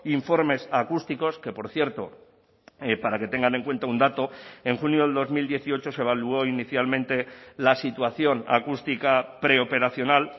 informes acústicos que por cierto para que tengan en cuenta un dato en junio del dos mil dieciocho se evaluó inicialmente la situación acústica preoperacional